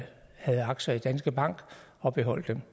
havde aktier i danske bank og beholdt dem